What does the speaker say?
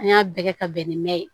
An y'a bɛɛ kɛ ka bɛn ni mɛn ye